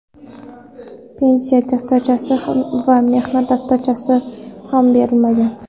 Pensiya daftarchasi va mehnat daftarchasi ham berilmagan.